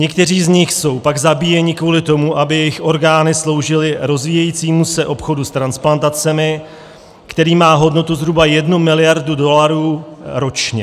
Někteří z nich jsou pak zabíjeni kvůli tomu, aby jejich orgány sloužily rozvíjejícímu se obchodu s transplantacemi, který má hodnotu zhruba jednu miliardu dolarů ročně.